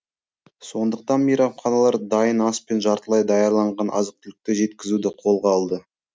сондықтан мейрамханалар дайын ас пен жартылай даярланған азық түлікті жеткізуді қолға алды